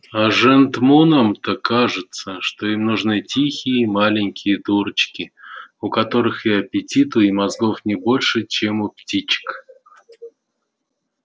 а жентмунам-то кажется что им нужны тихие маленькие дурочки у которых и аппетиту и мозгов не больше чем у птичек